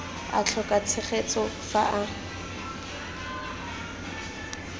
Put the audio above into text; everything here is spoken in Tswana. a tlhoka tshegetso fa a